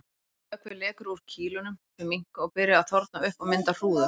Vökvi lekur úr kýlunum, þau minnka og byrja að þorna upp og mynda hrúður.